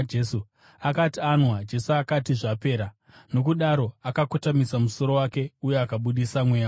Akati anwa Jesu akati, “Zvapera.” Nokudaro, akakotamisa musoro wake uye akabudisa mweya wake.